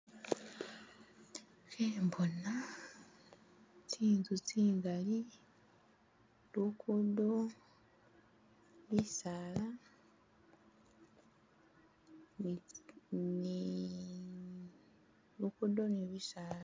Khembona tsinzu tsingali, lugudo bisaala nitsi ni lugudo ne bisaala